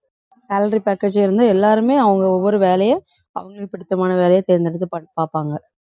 salary package இருந்து எல்லாருமே அவங்க ஒவ்வொரு வேலையை அவுங்களுக்கு பிடித்தமான வேலையை தேர்ந்தெடுத்து பார்ப்~ பார்ப்பாங்க